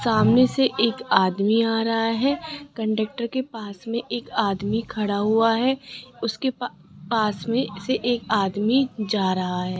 सामने से एक आदमी आ रहा है कंडक्टर के पास में एक आदमी खड़ा हुआ है उसके पा पास में से एक आदमी जा रहा है।